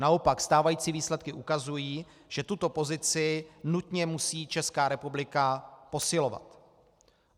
Naopak, stávající výsledky ukazují, že tuto pozici nutně musí Česká republika posilovat.